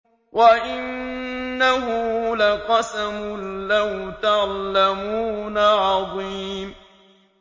وَإِنَّهُ لَقَسَمٌ لَّوْ تَعْلَمُونَ عَظِيمٌ